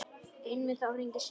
Einmitt þá hringdi síminn.